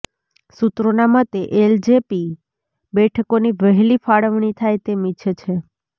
સૂત્રોના મતે એલજેપી બેઠકોની વહેલી ફાળવણી થાય તેમ ઈચ્છે છે